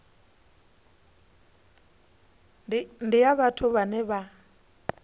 ndi ya vhathu vhane vha